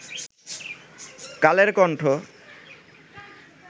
Kaler Kantho